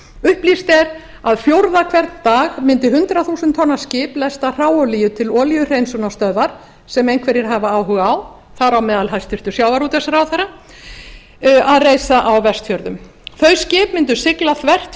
upplýst er að fjórða hvern dag mundi hundrað þúsund tonna skip lesta hráolíu til olíuhreinsunarstöðvar sem einhverjir hafa áhuga á þar á meðal hæstvirtur sjávarútvegsráðherra að reisa á vestfjörðum þau skip mundu sigla þvert